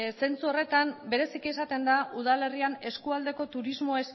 zentzu horretan bereziki esaten da udalerrian eskualdeko turismo